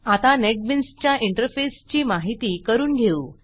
आता नेटबीन्सच्या इंटरफेसची माहिती करून घेऊ